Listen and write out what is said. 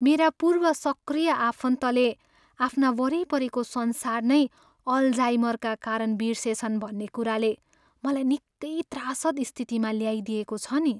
मेरा पूर्व सक्रिय आफन्तले आफ्ना वरिपरिको संसार नै अलजाइमरका कारण बिर्सेछन् भन्ने कुराले मलाई निकै त्रासद स्थितिमा ल्याइदिएको छ नि।